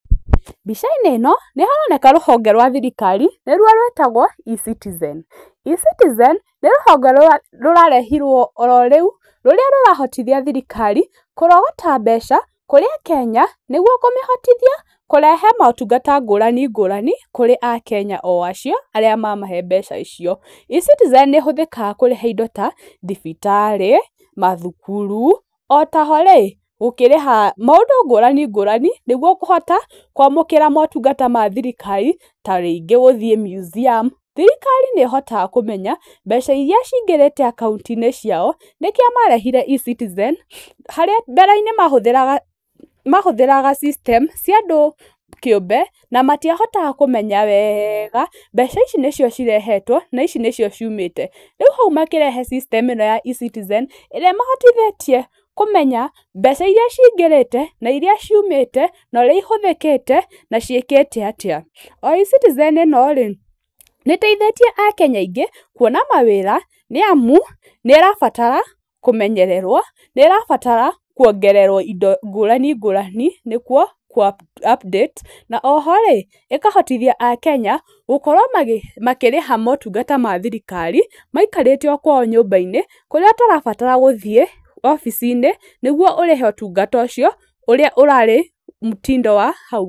Mbica-inĩ ĩno nĩ haroneka rũhonge rwa thirikari nĩruo rwĩtagwo E-Citizen. E-Citizen, nĩ rũhonge rũrarehirwo o rĩu rũrĩa rũrahotithia thirikari kũrogota mbeca kũrĩ akenya nĩguo kũmĩhotithia kũrehe motungata ngũrani ngũrani, kũrĩ akenya o acio arĩa mamahe mbeca o icio. E-CItizen nĩ ĩhũthĩkaga kũrĩha indo ta thibitarĩ, mathukuru, o ta ho rĩ, gũkĩrĩha maũndũ ngũrani ngũrani nĩguo kũhota, kwamũkĩra motungata ma thirikari ta rĩngĩ gũthiĩ museum thirikari nĩ ĩhotaga kũmenya, mbeca iria cingĩrĩte akaũnti-inĩ ciao, nĩkio marehire E-Citizen, harĩa mbere-inĩ mahũthĩraga systems cia andũ kĩũmbe, na matiahotaga kũmenya wega, mbeca ici nĩcio cirehetwo, na ici nĩcio ciumĩte, rĩu hau makĩrehe system ĩno ya E-Citizen, ĩrĩa ĩmateithĩtie kũmenya mbeca iria cingĩrĩte na iria ciumĩte na ũrĩa ihũthĩkĩte na ciĩkĩte atĩa. O E-citizen ĩno-rĩ nĩ ĩteithĩtie akenya aingĩ, kuona mawĩra nĩ amu nĩ ĩrabatara kũmenyererwo, nĩ ĩrabatara kuongererwo indo ngũrani ngũrani nĩkuo kũ update na oho-rĩ ĩkahotithia akenya, gũkorwo makĩrĩha motungata ma thirikari, maikarĩte o kwao nyũmba-inĩ, kũrĩa ũtarabatara gũthiĩ obici-inĩ nĩguo ũrĩhe ũtungata ũcio ũrĩa urarĩ mũtindo wa hau kabere